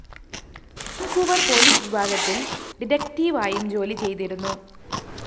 Vancouver‍ police വിഭാഗത്തില്‍ ഡിറ്റക്ടീവായും ജോലി ചെയ്തിരുന്നു